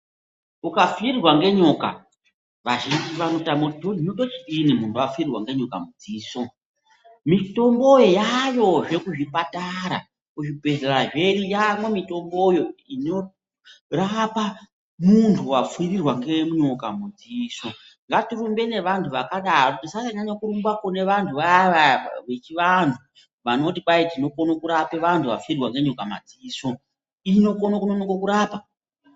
Ukapfirirwa nenyoka vazhinji vanotama kuti hino ndochidini kumbapfirirwa nenyoka mudziso. Mitombo yaiyezvo kuzvipatara, kuzvibhehlera zvedu yamwo mitomboyo inorapa muntu wapfirirwa ngenyoka mudziso. Ngatirumbe nevantu vakadaro tisasanyanya kurumba kune vantu vaya vaya vechivanhu vanoti kwayi tinokone kurapa vantu vapfirirwa ngenyoka mumadziso. Inokona kunonoka kurapa.